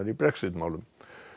í Brexit málum